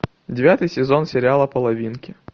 девятый сезон сериала половинки